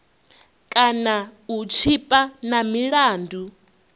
kana u tshipa na milandu